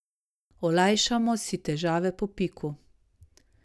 Olajšajmo si težave po piku!